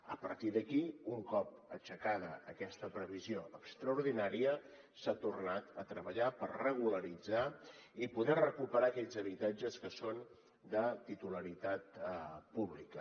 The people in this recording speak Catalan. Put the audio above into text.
a partir d’aquí un cop aixeca da aquesta previsió extraordinària s’ha tornat a treballar per regularitzar i poder recuperar aquells habitatges que són de titularitat pública